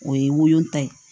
O ye woyota ye